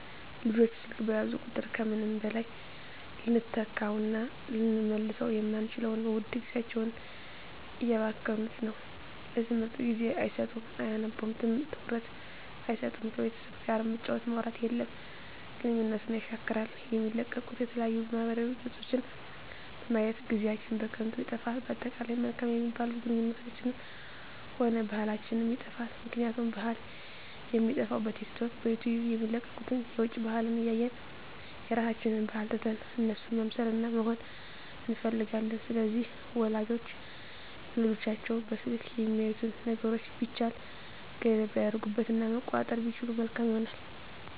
ልጆች ስልክ በያዙ ቁጥር ከምንም በላይ ልንተካዉእና ልንመልሰዉ የማንችለዉን ዉድ ጊዜያቸዉን እያባከኑት ነዉ ለትምህርት ጊዜ አይሰጡም አያነቡም ትኩረት አይሰጡም ከቤተሰብ ጋርም መጫወት ማዉራት የለም ግንኙነትን የሻክራል የሚለቀቁ የተለያዩ ማህበራዊ ገፆችን በማየት ጊዜአችን በከንቱ ይጠፋል በአጠቃላይ መልካም የሚባሉ ግንኙነታችንንም ሆነ ባህላችንንም ይጠፋል ምክንያቱም ባህል የሚጠፋዉ በቲክቶክ በዩቲዩብ የሚለቀቁትን የዉጭ ባህልን እያየን የራሳችንን ባህል ትተን እነሱን መምሰልና መሆን እንፈልጋለን ስለዚህ ወላጆች ለልጆቻቸዉ በስልክ የሚያዩትን ነገሮች ቢቻል ገደብ ቢያደርጉበት እና መቆጣጠር ቢችሉ መልካም ይሆናል